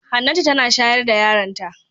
Hannatu tana shayar da yaronta.